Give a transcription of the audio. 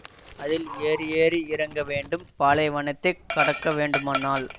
அதில் ஏறி ஏறி இறங்க வேண்டும் பாலைவனத்தைக் கடக்க வேண்டுமானால்